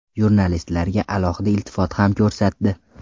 Jurnalistlarga alohida iltifot ham ko‘rsatdi.